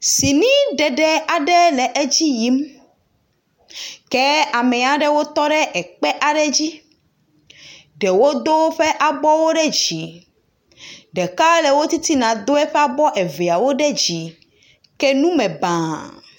Sini ɖeɖe aɖe le edzi yim kea me aɖewo tɔ ɖe ekpe aɖe dzi, ɖewo do woƒe abɔwo ɖe dzi ɖeka le titina do eƒe abɔwo eveawo ɖe dzi ke nume baa.